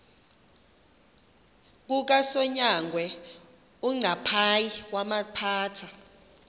kukasonyangwe uncaphayi wawaphatha